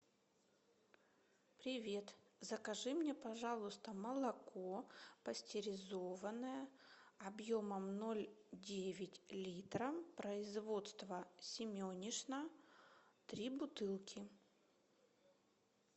привет закажи мне пожалуйста молоко пастеризованное объемом ноль девять литра производства семенишна три бутылки